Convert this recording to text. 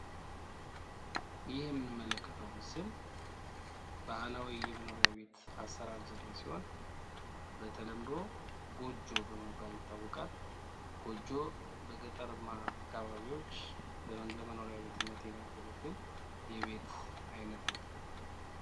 ይህ የምንመለከተው ምስል ባህላዊ የመኖሪያ ቤት አሰራር ዘዴ ሲሆን በተለምዶ ጎጆ በመባል ይታወቃል። ጎጆ በገጠራማ አካባቢዎች ለመኖሪያ ቤትነት የሚያገለግል የቤት አይነት ነው።